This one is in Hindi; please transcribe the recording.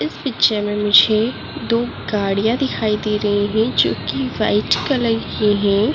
इस पिक्चर में मुझे दो गाड़ियाँ दिखाई दे रही हैं जो कि व्हाइट कलर की है।